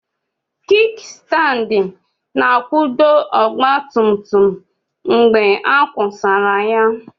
kikistandi na akwudo ọgba tum tum mgbe a kwubara ya